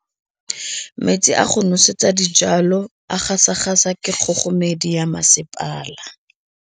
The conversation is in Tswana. Metsi a go nosetsa dijalo a gasa gasa ke kgogomedi ya masepala.